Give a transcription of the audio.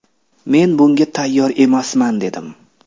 Men bunga tayyor emasman’, dedim.